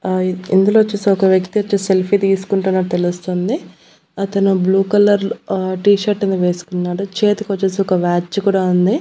ఆ ఇందులో చూస్తే ఒక వ్యక్తి వచ్చేసి సెల్ఫీ తీసుకుంటున్నట్టు తెలుస్తుంది అతను బ్లూ కలర్ లో ఆ టీ-షర్టు ను వేసుకొన్నాడు చేతికి వచ్చేసి ఒక వాచ్ కూడా ఉంది.